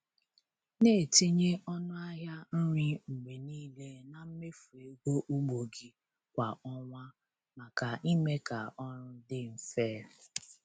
Na-etinye ọnụ ahịa nri mgbe niile na mmefu ego ugbo gị kwa ọnwa maka ime ka ọrụ dị mfe.